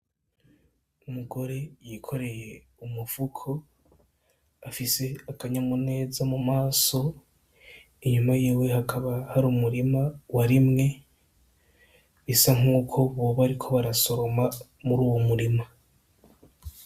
Umugore yikoreye umufuko afise akanyamuneza mu maso inyuma yiwe hakaba hari umurima warimwe bisa nkuko boba bariko barasoroma muruwo murima.